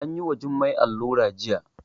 Anyi wa Jummai allura jiya